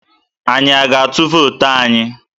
Anyi a ga-atụ vootu anyi?